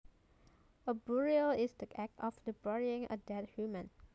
A burial is the act of burying a dead human